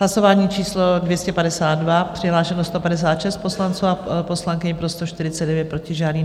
Hlasování číslo 252, přihlášeno 156 poslanců a poslankyň, pro 149, proti žádný.